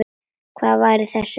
Hver var þessi maður?